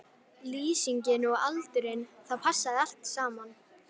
Lýsingin og aldurinn, það passaði allt saman.